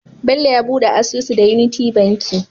Bello ya buɗe asusu da unity banki